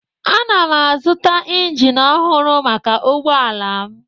Ana m azụta injin ọhụrụ maka ụgbọ ala m